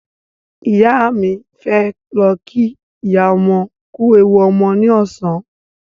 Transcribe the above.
Ìyá mi fẹ́ lọ kí ìyá ọmọ kú ewu ọmọ ní ọ̀sán